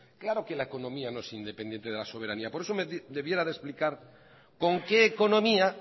claro que la economía no es independiente de la soberanía por eso me debiera de explicar con qué economía